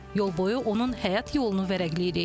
Yolboyu onun həyat yolunu vərəqləyirik.